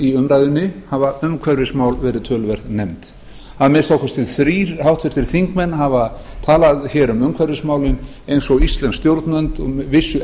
í umræðunni hafa umhverfismál verið töluvert nefnd að minnsta kosti þrír háttvirtir þingmenn hafa talað hér um umhverfismálin eins og íslensk stjórnvöld vissu